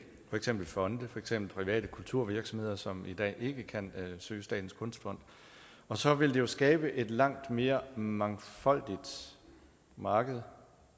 for eksempel fonde for eksempel private kulturvirksomheder som i dag ikke kan søge statens kunstfond og så vil det skabe et langt mere mangfoldigt marked